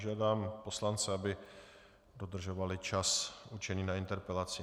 Žádám poslance, aby dodržovali čas určený na interpelaci.